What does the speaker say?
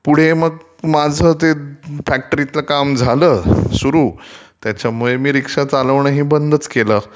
पुढे माझं ते फॅक्टरीतल काम झालं सुरू त्याच्यामुळे मी रीक्षा चालवण ही बंदच केलं.